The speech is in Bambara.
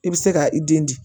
I bɛ se ka i den di